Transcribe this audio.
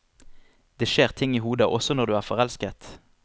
Det skjer ting i hodet også når du er forelsket.